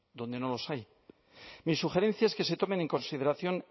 donde no los hay mi sugerencia es que se tomen en consideración